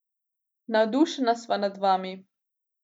Navdušena sva nad vami.